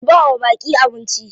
Ku bawa baƙi abnici.